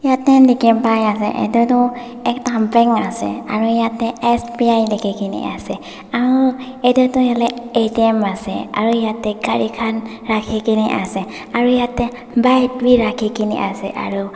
dikhipaiase edu tu ekta bank ase aru yatae S_B_I likhikae na ase aru edu tu hoilae A_T_M ase aru yatae gari khan rakhikae na ase aru yatae bike bi rakhi kae na ase aru--